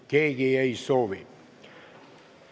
Keegi ei soovi.